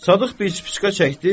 Sadıq bir spiçka çəkdi.